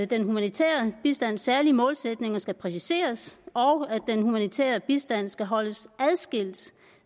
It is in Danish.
den humanitære bistands særlige målsætninger skal præciseres og at den humanitære bistand skal holdes adskilt